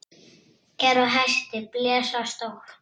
Er á hesti blesa stór.